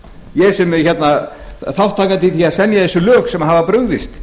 ég sem þátttakandi í að semja þessi lög sem hafa brugðist